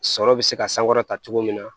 Sɔrɔ bɛ se ka sankɔrɔta cogo min na